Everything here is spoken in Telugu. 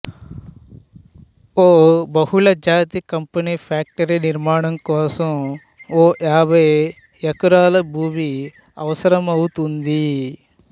ఓ బహుళజాతి కంపెనీ ఫ్యాక్టరీ నిర్మాణం కోసం వో యాభై యెకరాల భూమి అవసరమౌతుంది